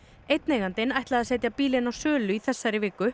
einn eigandinn ætlaði að setja bílinn á sölu í þessari viku